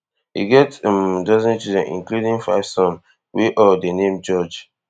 e get um dozen children including five sons wey all dey name george